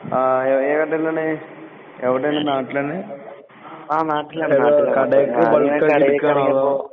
ആഹ് എഹ് ഏത് കടേലാണ് എവടേണ് നാട്ടിലന്നെ? ഏത് കടേക്ക് ബൾക്കായിട്ടെടുക്കാണോ അതോ?